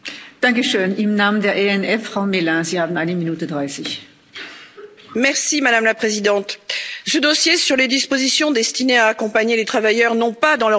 Madame la Présidente, ce dossier sur les dispositions destinées à accompagner les travailleurs, non pas dans leur vie professionnelle mais dans leur vie privée, relève typiquement de ce qui ne regarde pas l'Union européenne.